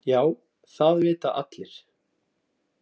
Já það vita allir.